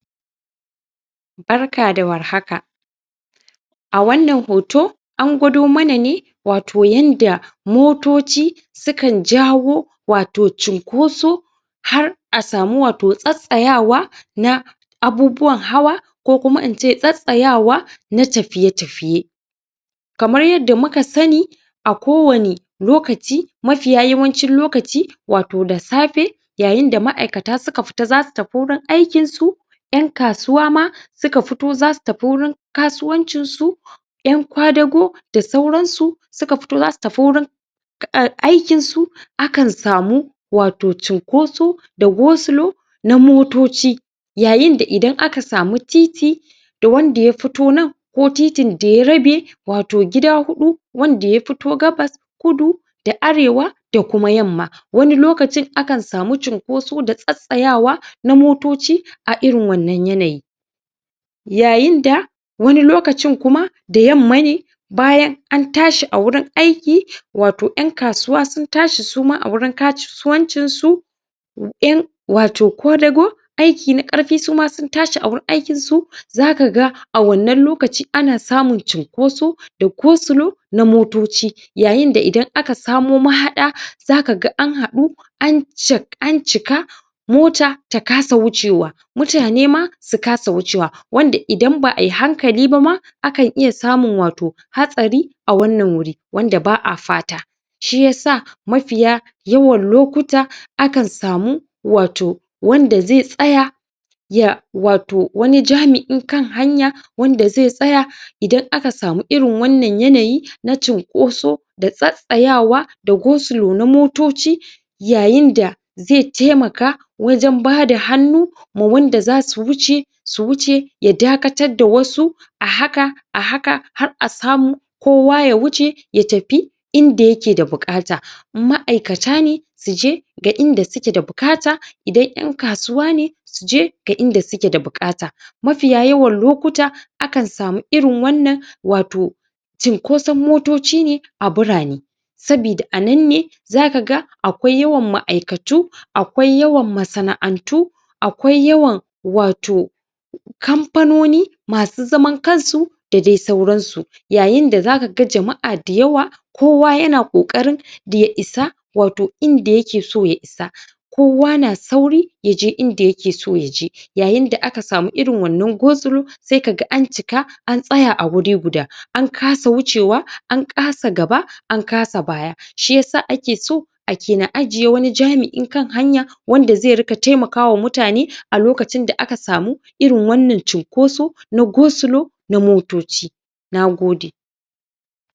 barka da warhaka a wannan hoto angwado mana ne wato yanda motoci sukan jawo wato chunkoso har a samu wato tsatsayawa na abubuwan hawa ko kuma ince tsatsayawa na tafiye tafiye kamar yadda muka sani a kowani lokaci mafiya yawancin lokaci wato da safe yayinda ma'aikata suka fita zasu tafi wurin aukin su yan kasuwa ma suka fito zasu tafi wurin kasuwan cinsu yan kwadago da sauran su suka fito zasu tafi aikin su akan samu cinkoso da go slow na motoci yayinda idan aka sami titi da wanda yafito nan ko titin da rabe wato gida hudu wanda ya fito gabas kudu da arewa da kuma yamma wani lokacin akan samu cinkoso da tsatsayawa tsayawa na motoci a irin wannan yanayi yayinda wani lokacin kuma da yamma ne bayan an tashi awurin aiki wato yan kasuwa sun tashi a wurin kasuwan cin su yan wato kwadago masu aikin na karfi suma sun tashi a wurin aikin su zaka ga awanann lokaci ana samun cin koso da go slow na motoci yayinda idan akasmo mahada zaka ga an hadu an cika mota ta kasa wucewa mutane na suka sa wucewa wanda idan ba'a yi hakali ba ma akan iya samun wato hatsari hatsari a wannan wuri wanda ba'a fata shiya sa mafiya yawan lokuta akan samu wato wanda zai tsaya ya wato wani jami'in kan hanya wanda zai tsaya idan aka sami irin wannan yanayi na cinkoso da tsattsaya wa da go slow na motoci yayinda zai temaka wajen bada hannu ma wanda zasu wuce su wuce ya dakatar da wasu a haka ahaka har asamu kowa ya wuce ya tafi inda yake da bukata ma'aikatane suje da inda suke da bukata idan yan kasuwa ne suje inda suke da bukata mafiya yawan lokuta akan samu irin wannan wato cin koson motoci ne a birane sabida anan ne zaka ga akwai yawan ma'aikatu akwai yawan masana'antu akwai yawan wato kamfanoni masu zaman kansu da dai sauransu yayinda zaka ga jama'a da yawa kowa yana kokarin da ya isa wato inda yake so ya isa kowa na sauri yaje inda yake so yaje yayinda aka samu irin wannan go slo sai kaga ancika an tsaya a wuri guda an kasa wuce wa akan sa gaba an kasa baya shiyasa ake so ake na ajiye jami'i kan hanya wanda zai na temakawa mutane idan aka samu irin wannan cinkosa na go slow na motoci nagode